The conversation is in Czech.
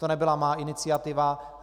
To nebyla má iniciativa.